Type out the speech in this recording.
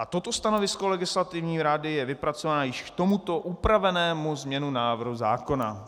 A toto stanovisko Legislativní rady je vypracované již k tomuto upravenému znění návrhu zákona.